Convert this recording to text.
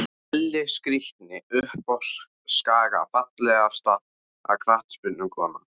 Elli skrítni uppá skaga Fallegasta knattspyrnukonan?